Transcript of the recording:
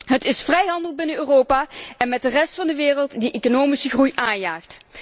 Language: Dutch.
Het is de vrijhandel binnen Europa en met de rest van de wereld die de economische groei aanjaagt.